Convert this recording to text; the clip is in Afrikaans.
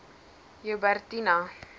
joubertina